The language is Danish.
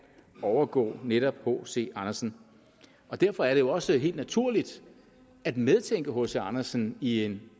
overgå netop hc andersen derfor er det jo også helt naturligt at medtænke hc andersen i en